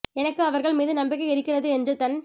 எனக்கு அவர்கள் மீது நம்பிக்கை இருக்கிறது என்று தன்